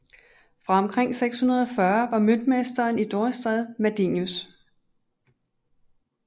Fra omkring 640 var møntmesteren i Dorestad Madelinus